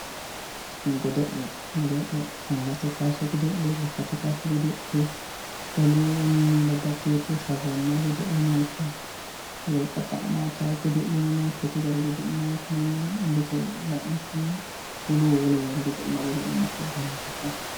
godo'le angate kaase godo'leemmo lekkate kaase godo'leemmo olu babbaxeewo sharrammayi godo'lineemmo wolqa xa'mitawo godo'leno no shotu gari godo'leno no mite wolu woewa heere godo'lanno godo'le ikkitara dandiitanno